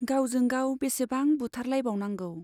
गावजों गाव बेसेबां बुथार लायबावनांगौ।